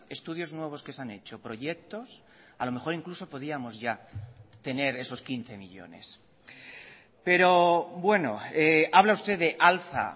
estudios nuevos que se han hecho proyectos a lo mejor incluso podíamos ya tener esos quince millónes pero bueno habla usted de alza